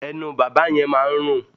Ẹnu bàbá yẹn máa ń rùn.